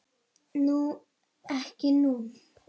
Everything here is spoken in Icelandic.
Ekki nú.